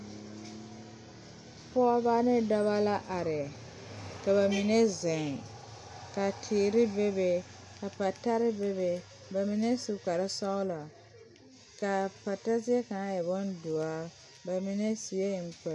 Pɔgeba ne dɔba la are ka ba mine zeŋ ka teere bebe ka patare bebe ba mine su kparesɔglɔ k,a pata zie kaŋ e bondoɔre ba mine sue enkpoli.